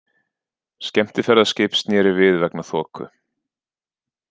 Skemmtiferðaskip snéri við vegna þoku